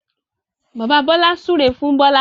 Bàbà Bola súré fún Bola